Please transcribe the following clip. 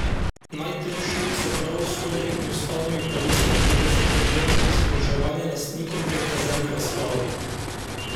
Najtrši, s pravosodjem in ustavnimi pravicami povezan problem, je zadolževanje lastnikov prek rezervnega sklada.